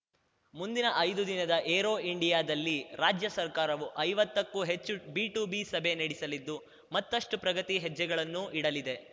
ಮುಂದಿನ ಐದು ದಿನದ ಏರೋ ಇಂಡಿಯಾದಲ್ಲಿ ರಾಜ್ಯ ಸರ್ಕಾರವು ಐವತ್ತಕ್ಕೂ ಹೆಚ್ಚು ಬಿಟುಬಿ ಸಭೆ ನಡೆಸಲಿದ್ದು ಮತ್ತಷ್ಟುಪ್ರಗತಿ ಹೆಜ್ಜೆಗಳನ್ನು ಇಡಲಿದೆ